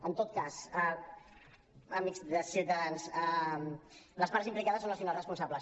en tot cas amics de ciutadans les parts implicades són les finals responsables